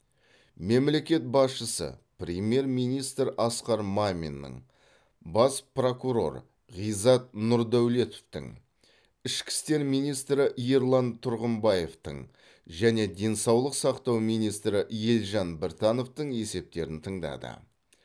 мемлекет басшысы премьер министр асқар маминнің бас прокурор ғизат нұрдәулетовтің ішкі істер министрі ерлан тұрғымбаевтың және денсаулық сақтау министрі елжан біртановтың есептерін тыңдады